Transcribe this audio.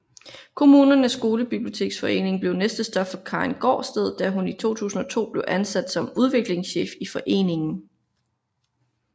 Kommunernes Skolebiblioteksforening blev næste stop for Karin Gaardsted da hun i 2002 blev ansat som udviklingschef i foreningen